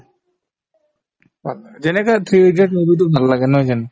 যেনেকে three idiots movie তোক ভাল লাগে নহয় জানো